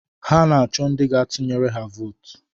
Ha na-achọ ndị gaa-tụnyere ha vootu